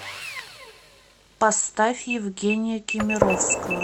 поставь евгения кемеровского